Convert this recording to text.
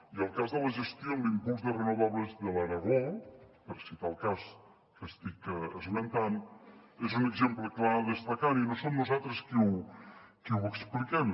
i el cas de la gestió en l’impuls de renovables de l’aragó per citar el cas que estic esmentant n’és un exemple clar a destacar i no som nosaltres qui ho expliquem